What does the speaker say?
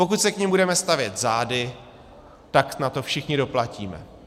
Pokud se k nim budeme stavět zády, tak na to všichni doplatíme.